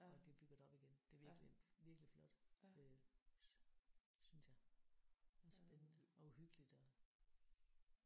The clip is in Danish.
Og de bygger det op igen. Det er virkelig virkelig flot øh synes jeg. Og spændende og uhyggeligt og